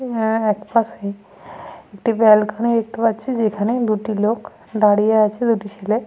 এ এহ একপাশে একটি ব্যালকনি দেখতে পাচ্ছি যেখানে দুটি লোক দাঁড়িয়ে আছে দুটি ছেলে।